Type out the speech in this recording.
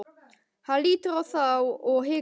Hann lítur á þá og hikar.